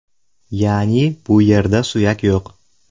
Ya’ni, bu yerda suyak yo‘q.